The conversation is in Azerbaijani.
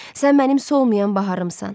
Sən mənim solmayan baharımsan.